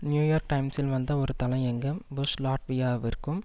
New York டைம்ஸ்ல் வந்த ஒரு தலையங்கம் புஷ் லாட்வியாவிற்கும்